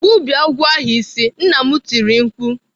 "Gbubie agwọ ahu isi!" Nna m tiri mkpu.